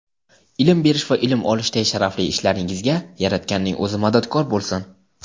ilm berish va ilm olishday sharafli ishlaringizga Yaratganning O‘zi madadkor bo‘lsin!.